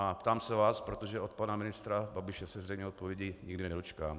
A ptám se vás, protože od pana ministra Babiše se zřejmě odpovědi nikdy nedočkám.